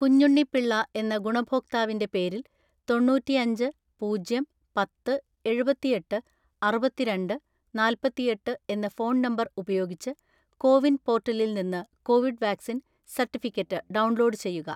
കുഞ്ഞുണ്ണി പിള്ള എന്ന ഗുണഭോക്താവിന്റെ പേരിൽ തൊണ്ണൂറ്റിഅഞ്ച് പൂജ്യം പത്ത് എഴുപത്തിഎട്ട് അറുപത്തിരണ്ട് നാല്‍പത്തിഎട്ട് എന്ന ഫോൺ നമ്പർ ഉപയോഗിച്ച് കോവിൻ പോർട്ടലിൽ നിന്ന് കോവിഡ് വാക്‌സിൻ സർട്ടിഫിക്കറ്റ് ഡൗൺലോഡ് ചെയ്യുക.